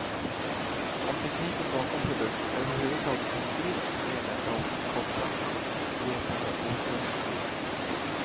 Om tekniken bakom produkten överhuvudtaget beskrivs sker detta oftast kortfattat, svepande och okunnigt.